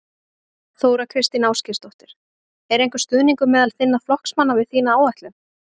Þóra Kristín Ásgeirsdóttir: Er einhver stuðningur meðal þinna flokksmanna við þína áætlun?